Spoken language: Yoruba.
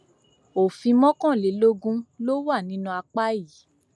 òfin mọkànlélógún ló wà ní apá yìí